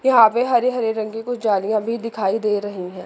यहां पे हरे-हरे रंग की कुछ जालियां भी दिखाई दे रही है।